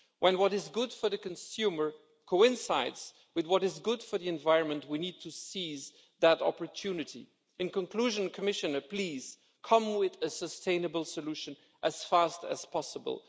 When what is good for the consumer coincides with what is good for the environment, we need to seize that opportunity. In conclusion, Commissioner, please come forward with a sustainable solution as fast as possible.